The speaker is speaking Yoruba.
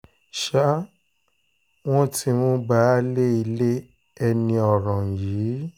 ṣá wọn ti mú baálé ilé ẹni ọ̀ràn yìí